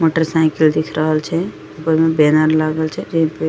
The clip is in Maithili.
मोटर साइकिल दिख रहल छै ऊपर में बैनर लागल छै जे ही पे --